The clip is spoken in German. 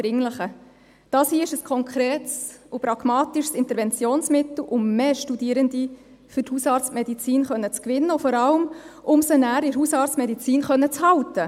Dies hier ist ein konkretes und pragmatisches Interventionsmittel, um mehr Studierende für die Hausarztmedizin gewinnen zu können und vor allem, um sie nachher in der Hausarztmedizin halten zu können.